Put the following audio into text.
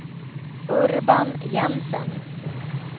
Urban Jensen